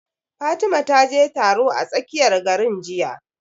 Fatima ta je taro a tsakiyar garin jiya